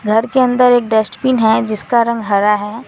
घर के अंदर एक डस्टबिन है जिसका रंग हरा है।